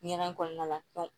Ɲɛgɛn kɔnɔna la